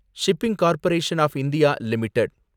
shipping corporation of India limited